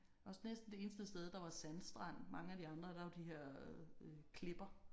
Også næsten det eneste sted der var sandstrand mange af de andre der var de her klipper